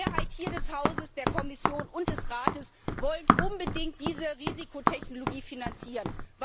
Die Mehrheit des Hauses, der Kommission und des Rates wollen unbedingt diese Risikotechnologie finanzieren.